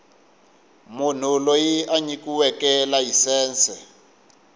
munhu loyi a nyikiweke layisense